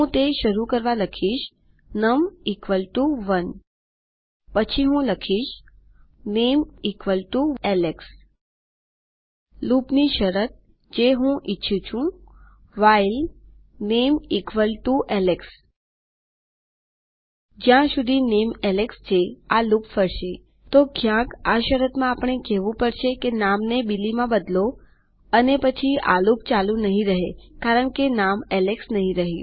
હું તે શરુ કરવા લખીશ નમ 1 પછી હું લખીશ માય નામે ઇસ એલેક્સ લૂપની શરત હું જે ઇચ્છુ છું વ્હાઇલ થે નામે એલેક્સ જ્યાં સુધી nameAlex છે આ લૂપ ફરશેતો ક્યાંક આ શરતમાં આપણને કેહવું પડશે કે નામને Billyમાં બદલો અને પછી આ લૂપ ચાલુ નહીં રહે કારણકે નામ એલેક્સ નહીં રહે